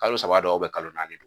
Kalo saba don wa kalo naani don?